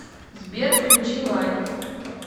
сбер включи лайф